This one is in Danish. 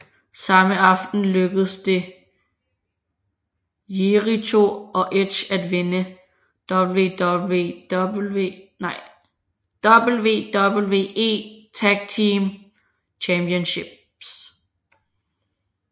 Samme aften lykkedes det Jericho og Edge at vinde WWE Tag Team Championship